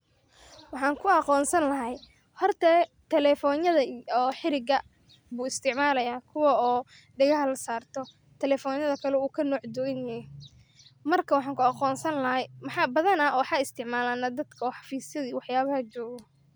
Waxaan kuaqoonsan lahaa horte telefonyadha oo xiriga buu isticmalayaa kuwa oo degaha lasaarto talefonyadha kale uu kanooc duganehe. marka waxaan kuaqonsan lahaa waxa isticmalaa dadka oo xafisyadha iyo waxyaabaha jogo.